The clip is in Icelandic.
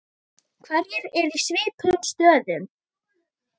Hverjir eru í svipuðum stöðum?